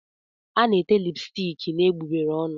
A na-ete lipstiki n'egbugbere ọnụ.